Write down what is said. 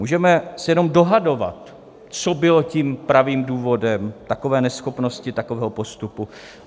Můžeme se jenom dohadovat, co bylo tím pravým důvodem takové neschopnosti, takového postupu.